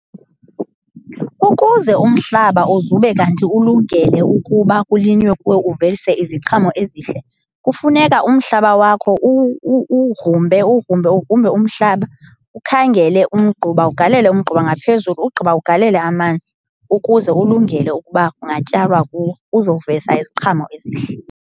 Ukuze umhlaba uzube kanti ulungele ukuba kulinywe kuwo uvelise iziqhamo ezihle kufuneka umhlaba wakho uwugrumbe, uwugrumbe, ugrumbe umhlaba ukhangele umgquba ugalele umgquba ngaphezulu. Ugqiba ugalele amanzi ukuze ulungele ukuba kungatyalwa kuwo uzovelisa iziqhamo ezihle.